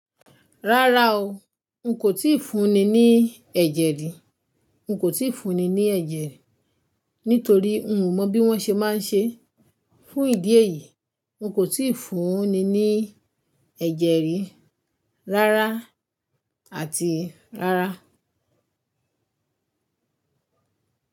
Rárá o, n kò tíì fúnni ní ẹ̀jẹ̀ rí, n kò tíì fúnni ní ẹ̀jẹ̀ rí nítorí n ò mọ bí wón ṣe máa ń ṣe. Fún ìdí èyí, n kò tíì fúnni ní ẹ̀jẹ̀ rí rárá àti rárá.